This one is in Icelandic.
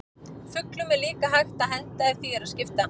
Fuglum er líka hægt að henda ef því er að skipta.